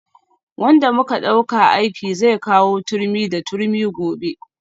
Wanda muka dauka aiki zai kawo turmi da turmi gobe